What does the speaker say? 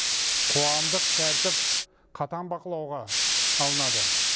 қоғамдық тәртіп қатаң бақылауға алынады